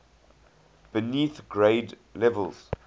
beneath grade levels